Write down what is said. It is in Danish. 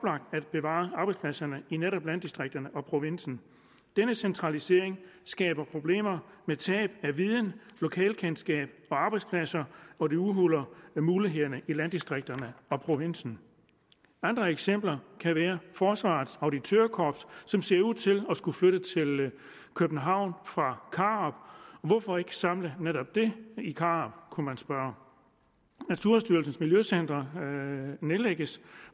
at bevare arbejdspladserne i netop landdistrikterne og provinsen denne centralisering skaber problemer med tab af viden lokalkendskab og arbejdspladser og det udhuler mulighederne i landdistrikterne og provinsen andre eksempler kan være forsvarets auditørkorps som ser ud til at skulle flytte til københavn fra karup hvorfor ikke samle netop det i karup kunne man spørge naturstyrelsens miljøcentre nedlægges